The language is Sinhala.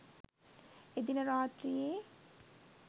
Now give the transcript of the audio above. ඒදින රාත්‍රියේ